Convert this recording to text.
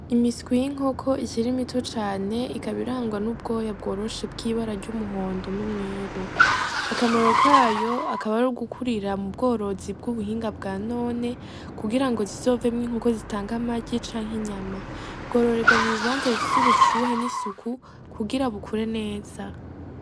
Imiswi y’inkoko ikiri mito cane ikaba irangwa n’ubwoya bworoshe bw’ibara ry’umuhondo n’umweru, akamaro kayo akaba arugukurira mu bworozi bw’ubuhinga bwa none kugira ngo zizovemwo inkoko zitanga amagi canke inyama . Bwororerwa mu bibanza bifise ubushuhe n’isuku kugira bukure neza.